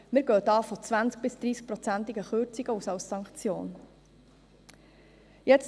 Wir gehen da von 20- bis 30-prozentigen Kürzungen als Sanktion aus.